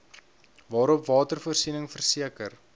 waarop watervoorsiening verseker